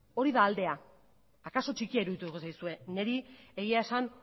hori da aldea akaso txikia irudituko zaizue niri egia esan